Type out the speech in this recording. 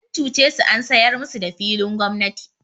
An cuce su an sayar musu da filin gwamnati.